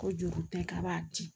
Ko juru tɛ k'a b'a di